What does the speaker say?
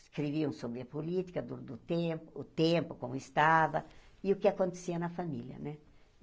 Escreviam sobre a política, do do tempo, o tempo, como estava, e o que acontecia na família né.